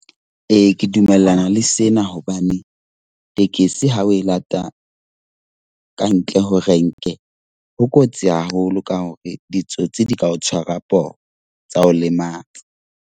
Ee, ke dumellana le sena hobane tekesi ha o e lata kantle ho renke ho kotsi haholo ka hore ditsotsi di ka o tshwarwa poho, tsa o lematsa.